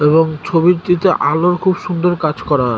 এবং ছবিটিতে আলোর খুব সুন্দর কাজ করার।